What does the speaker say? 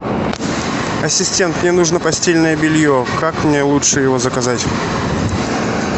ассистент мне нужно постельное белье как мне лучше его заказать